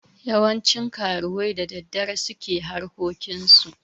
Yawancin karuwai da daddare su ke harkokinsu.